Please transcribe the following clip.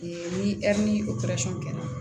ni ni kɛra